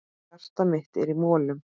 Hjartað mitt er í molum.